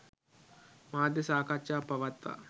මාධ්‍ය සාකච්ඡාවක් පවත්වා